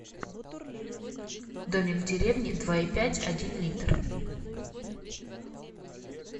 домик в деревне два и пять один литр